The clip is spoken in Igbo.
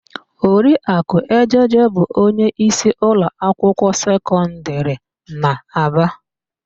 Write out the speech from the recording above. Oriakụ Ejeje bụ onyeísí ụlọakwụkwọ sekọndịrị n'Aba.